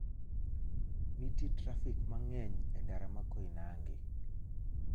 nitie trafik mang'eny e ndara ma koinange